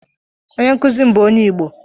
Onye nkuzi m bu onye Igbo